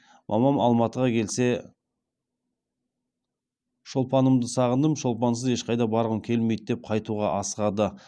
мамам алматыға келсе шолпанымды сағындым шолпансыз ешқаи да барғым келмеи ді деп қаи туға асығады